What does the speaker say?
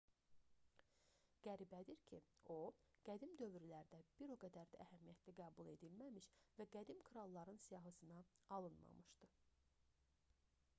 qəribədir ki o qədim dövrlərdə bir o qədər də əhəmiyyətli qəbul edilməmiş və qədim kralların siyahısına alınmamışdır